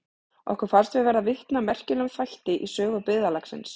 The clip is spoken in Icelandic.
Okkur fannst við verða vitni að merkilegum þætti í sögu byggðarlagsins.